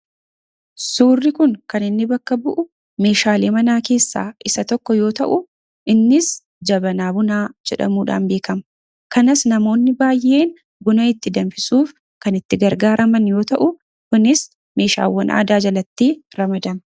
suurri kun kan inni bakka bu'u meeshaalee manaa keessaa isa tokko yoo ta'u innis jabanaa bunaa jedhamuudhaan beekama kanas namoonni baayeen guna itti damfisuuf kan itti gargaa raman yoo ta'u kunis meeshaawwan aadaa jalatti ramadama